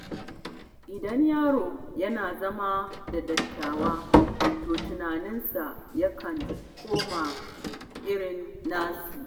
Idan yaro yana zama da dattawa, to tunaninsa yakan koma irin nasu.